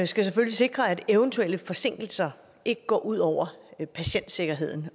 skal selvfølgelig sikre at eventuelle forsinkelser ikke går ud over patientsikkerheden